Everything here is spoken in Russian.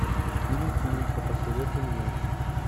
фильм флика посоветуй мне